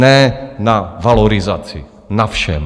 Ne na valorizaci, na všem.